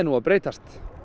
að breytast